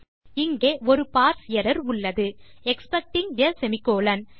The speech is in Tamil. இங்கே ஒரு பார்ஸ் எர்ரர் உள்ளது எக்ஸ்பெக்டிங் ஆ செமிகோலன்